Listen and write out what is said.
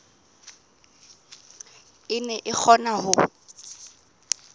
e ne e kgona ho